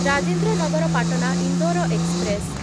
Rajendra Nagar Patna Indore express